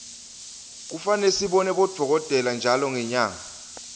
kufane sibone bodokotela ntjalo ngenyanga